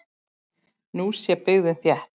Nú sé byggðin þétt.